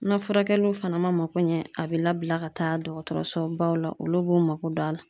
Na furakɛliw fana mako ɲɛ a bɛ labila ka taa dɔgɔtɔrɔso baw la olu b'u mako don a la.